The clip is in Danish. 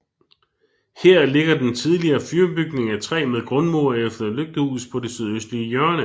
Her ligger den tidligere fyrbygning af træ med grundmur efter lygtehus på det sydøstlige hjørne